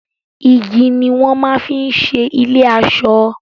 Igi ni wọ́n máa ń fi ṣe ilé-aṣọ.